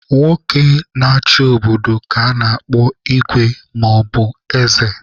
Nwoke na-achị obodo ka a na-akpọ Igwe maọbu eze.